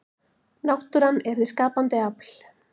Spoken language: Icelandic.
náttúran er hið skapandi afl